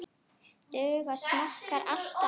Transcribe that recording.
Duga smokkar alltaf?